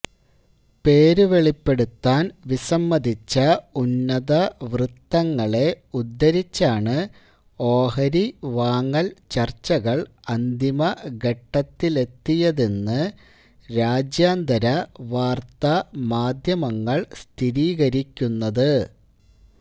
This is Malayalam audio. പേരു വെളിപ്പെടുത്താന് വിസമ്മതിച്ച ഉന്നതവൃത്തങ്ങളെ ഉദ്ധരിച്ചാണ് ഓഹരി വാങ്ങല് ചര്ച്ചകള് അന്തിമഘട്ടത്തിലെത്തിയതെന്ന് രാജ്യാന്തര വാര്ത്താ മാധ്യമങ്ങള് സ്ഥിരീകരിക്കുന്നത്